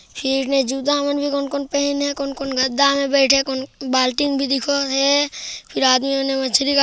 फिर ने जूता मन कोन कोन पहने हे कोन कोन गद्दा में बेठे हे कोन-को बाल्टी म भी दिखत हे फिर आदमी मन मछरी काटत--